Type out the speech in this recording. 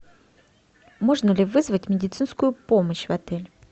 можно ли вызвать медицинскую помощь в отель